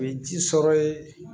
O ye ji sɔrɔ ye